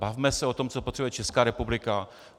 Bavme se o tom, co potřebuje Česká republika.